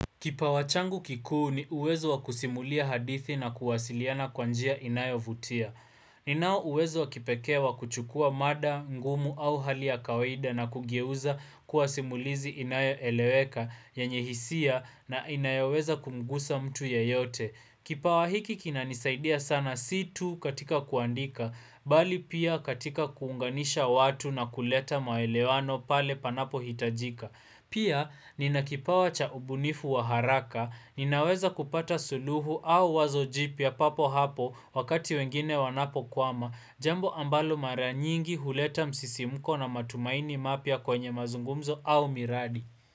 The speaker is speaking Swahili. Kipawachangu kikuu ni uwezo wakusimulia hadithi na kuwasiliana kwanjia inayo vutia. Ninao uwezo wakipekee wa kuchukua mada, ngumu au hali ya kawaida na kugeuza kuwasimulizi inayo eleweka yenye hisia na inayoweza kumgusa mtu yeyote. Kipawahiki kinanisaidia sana situ katika kuandika, bali pia katika kuunganisha watu na kuleta maelewano pale panapo hitajika. Pia, ninakipawa cha ubunifu wa haraka, ninaweza kupata suluhu au wazo jipya papo hapo wakati wengine wanapo kwama, jambo ambalo maranyingi huleta msisimuko na matumaini mapia kwenye mazungumzo au miradi.